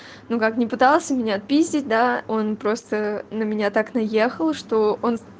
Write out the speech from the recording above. ну как не пытался меня отпиздить да он просто на меня так наехал что он